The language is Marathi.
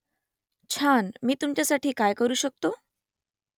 छान मी तुमच्यासाठी काय करू शकतो ?